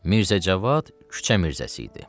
Mirzəcavad küçə mirzəsi idi.